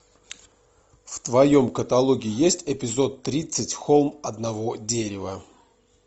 в твоем каталоге есть эпизод тридцать холм одного дерева